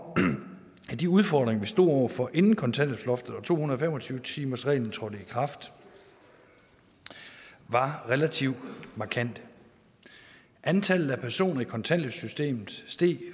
at de udfordringer vi stod over for inden kontanthjælpsloftet og to hundrede og fem og tyve timersreglen trådte i kraft var relativt markante antallet af personer i kontanthjælpssystemet steg